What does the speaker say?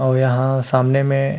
और यहाँ सामने में --